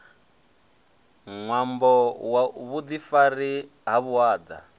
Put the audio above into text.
ṅwambo wa vhuḓifari ha vhuaḓa